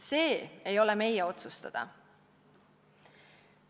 See ei ole meie otsustada.